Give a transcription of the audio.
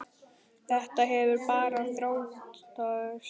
Þetta hefur bara þróast þannig.